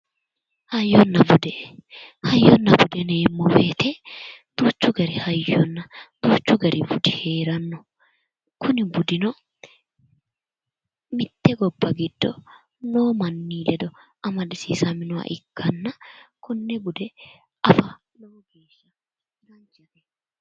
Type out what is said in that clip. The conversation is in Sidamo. Hayyonna bude hayyonna bude yineemmo woyite duuchu gari hayyonna duuchu gari budi heeranno kuni budino mitte gobba giddo noo manni ledo amadisiisaminoha ikkanna konne bude afa lowo geesha danchate